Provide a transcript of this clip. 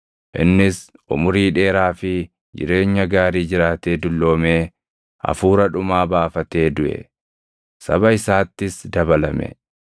Innis umurii dheeraa fi jireenya gaarii jiraatee dulloomee hafuura dhumaa baafatee duʼe; saba isaattis dabalame.